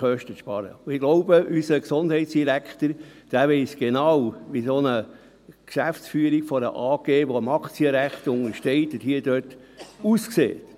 Ich glaube, unser Gesundheitsdirektor weiss genau, wie die Geschäftsführung einer solchen AG, die dem Aktienrecht untersteht, aussieht.